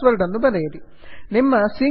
ನಿಮ್ಮ E mail IDಮತ್ತು password ಅನ್ನು ಬರೆಯಿರಿ